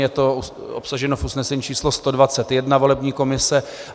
Je to obsaženo v usnesení číslo 121 volební komise.